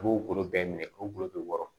U b'o golo bɛɛ minɛ k'o golo be wɔɔrɔ